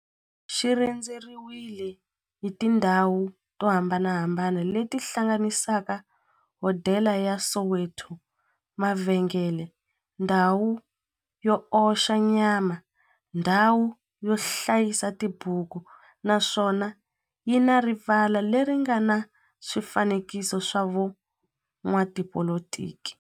xi rhendzeriwile hi tindhawu to hambanahambana le ti hlanganisaka, hodela ya Soweto, mavhengele, ndhawu yo oxa nyama, ndhawu yo hlayisa tibuku, naswona yi na rivala le ri nga na swifanekiso swa vo n'watipolitiki.